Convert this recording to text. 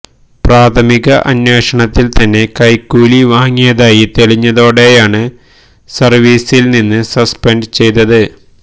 പ്രാഥമിക അന്വേഷണത്തില് തന്നെ കൈക്കൂലി വാങ്ങിയതായി തെളിഞ്ഞതോടെയാണ് സര്വിസില് നിന്ന് സസ്പെന്ഡ് ചെയ്തത്